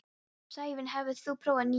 Sævin, hefur þú prófað nýja leikinn?